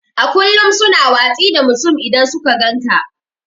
A ƙullum su na watsi da mutum idan suka gan ƙa.